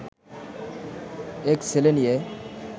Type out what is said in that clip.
এক ছেলে নিয়ে